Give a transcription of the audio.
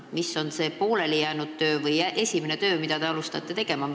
Mis on see poolelijäänud või esimene töö, mille tegemisega te alustate?